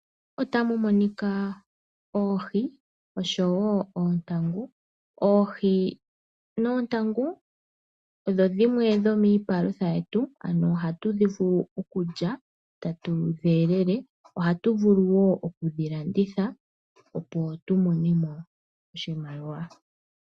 Otamu monika oohi oshowo oontangu, oohi noontangu odho dhimwe dhomiipalutha yetu ano ohatudhi vulu okulya tatudhi elele ohatu vulu woo okudhilanditha opo tumone mo oshimaliwa.